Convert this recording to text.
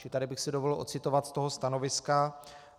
Čili tady bych si dovolil ocitovat z toho stanoviska: